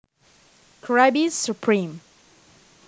Krabby Surpreme